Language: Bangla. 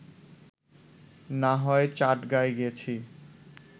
না হয় চাটগাঁয় গেছি